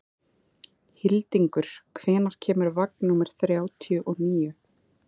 Hildingur, hvenær kemur vagn númer þrjátíu og níu?